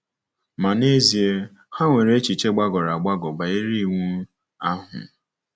Ma n’ezie, ha nwere echiche gbagọrọ agbagọ banyere Iwu ahụ.